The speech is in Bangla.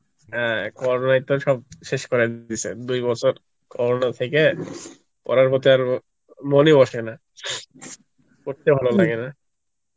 হ্যাঁ Corona ই তো সব শেষ করে দিয়েছে, দুই বছর Corona থেকে পড়ার প্রতি আর মন ই বসে না পড়তে ভালো লাগে না